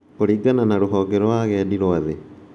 Kũringana na rũhonge rwa agendi rwa thĩ.